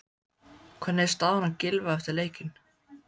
Hvernig er staðan á Gylfa eftir leikinn?